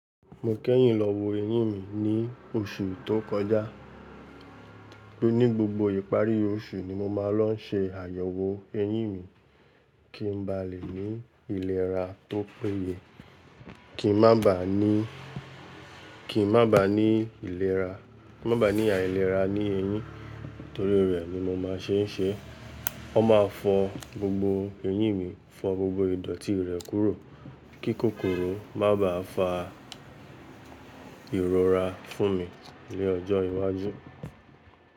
Mo kẹ́yìn lọ wo eyín mi ní oṣù tó kọjá, torí ní gbogbo ìparí oṣù ni mo máa ń lọ ṣe àyẹ̀wò eyín mi, kí n ba lè ní ìlera tó péye. Kí n má ba ní, kí n má ba ní ìlera, kin má ba ní àìlera ní eyín, torí rẹ̀ ni mo máa ṣe n ṣe. Wọ́n máa fọ gbogbo eyín mi, fọ gbogbo idọ̀tí rẹ̀ kúrò, kí kòkòrò má ba fa ìrora fún mi ní ọjọ́ iwájú.